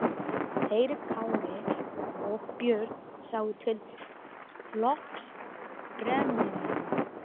Þeir Kári og Björn sáu til flokks brennumanna.